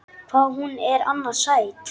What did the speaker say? Hvað hún er annars sæt!